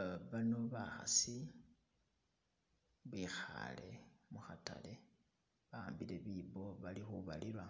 Uh bano bakhasi bekhaale mukhatale ba'ambile biibo bali khubalula